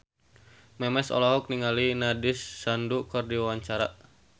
Memes olohok ningali Nandish Sandhu keur diwawancara